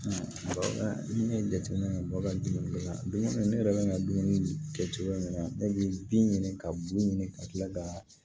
ne ye jateminɛ kɛ dɔ ka dumuni kɛ ka dumuni ne yɛrɛ bɛ n ka dumuni kɛ cogo min na ne bɛ bin ɲini ka bu ɲini ka tila ka